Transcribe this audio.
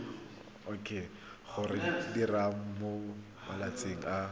go diriwa mo malatsing a